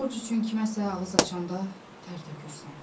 Borc üçün kiməsə ağız açanda tər tökürsən.